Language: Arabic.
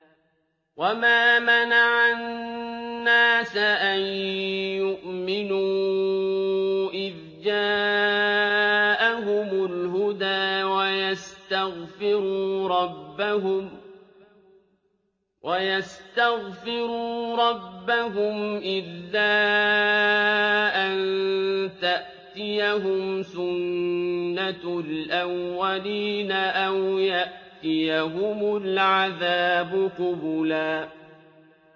وَمَا مَنَعَ النَّاسَ أَن يُؤْمِنُوا إِذْ جَاءَهُمُ الْهُدَىٰ وَيَسْتَغْفِرُوا رَبَّهُمْ إِلَّا أَن تَأْتِيَهُمْ سُنَّةُ الْأَوَّلِينَ أَوْ يَأْتِيَهُمُ الْعَذَابُ قُبُلًا